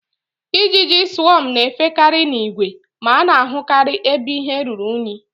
Ijiji swọm na-efekarị n'ìgwè, ma a na-ahụkarị ebe ihe ruru unyi